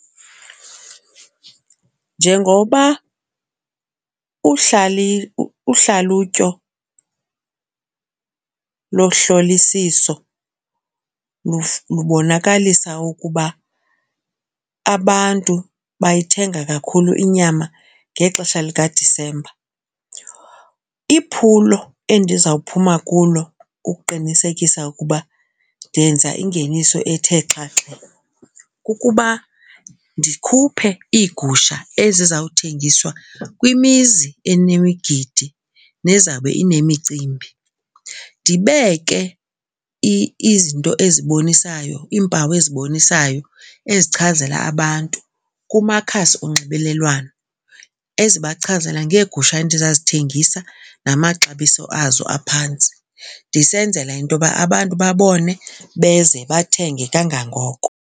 Njengoba uhlalutyo lohlolisiso lubonakalisa ukuba abantu bayithenga kakhulu inyama ngexesha likaDisemba. Iphulo endizawuphuma kulo kukuqinisekisa ukuba ndenza ingeniso ethe xhaxha kukuba ndikhuphe iigusha ezizawuthengiswa kwimizi enemigidi nezawube inemicimbi. Ndibeke izinto ezibonisayo iimpawu ezibonisayo ezichazela abantu kumakhasi onxibelelwano ezibachazela ngeegusha endizawuzithengisa namaxabiso azo aphantsi ndisenzela into yoba abantu babone beze bathenge kangangoko.